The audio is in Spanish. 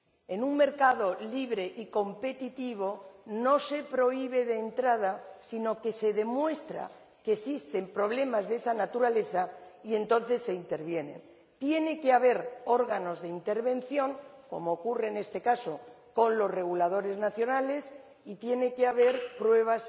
En un mercado libre y competitivo no se prohíbe de entrada, sino que se demuestra que existen problemas de esa naturaleza y entonces se interviene. Tiene que haber órganos de intervención, como ocurre, en este caso, con los reguladores nacionales, y tiene que haber pruebas